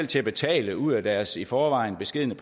til at betale ud af deres i forvejen beskedne